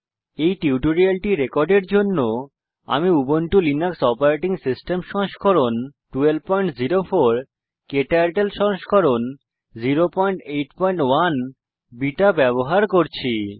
এই টিউটোরিয়ালটি রেকর্ডের জন্য আমি উবুন্টু লিনাক্স ওএস সংস্করণ 1204 ক্টার্টল সংস্করণ 081 বিটা ব্যবহার করছি